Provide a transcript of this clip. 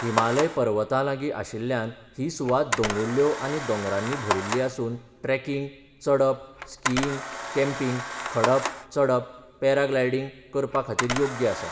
हिमालय पर्वतांलागीं आशिल्ल्यान ही सुवात दोंगुल्ल्यो आनी दोंगरांनी भरिल्ली आसून ट्रेकिंग, चडप, स्कीइंग, कॅम्पिंग, खडप चडप, पॅराग्लायडींग करपाखातीर योग्य आसा.